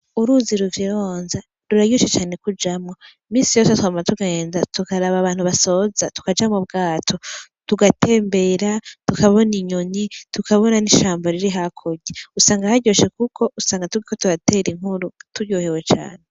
Uruzi ruvyironza ruraryoshe cane kujamwo minsi yose twama tugenda tukaraba abantu basoza tukaja m'ubwato tugatembera tukabona inyoni tukabona n'ishamba riri hakurya usanga haryoshe kuko usanga turiko turatera inkuru turyohewe cane.